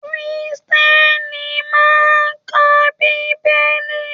Kírísítẹ́nì máa n ka Bíbélì.